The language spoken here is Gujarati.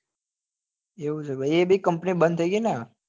એવું છે ભાઈ એ બી company બંદ થઇ ગઈ ને